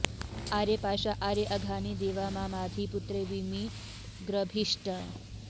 आरे पाशा आरे अघानि देवा मा माधि पुत्रे विमिव ग्रभीष्ट